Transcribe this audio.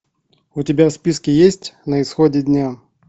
у тебя в списке есть на исходе дня